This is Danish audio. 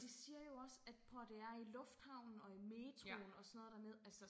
De siger jo også at prøv og hør det er i lufthavnen og i metroen også noget dernede altså